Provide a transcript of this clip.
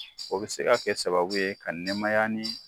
O bi se ka kɛ sababu ye ka nɛmaya ni